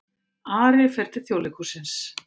Ari fer til Þjóðleikhússins